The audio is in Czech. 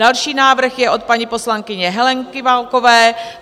Další návrh je od paní poslankyně Heleny Válkové.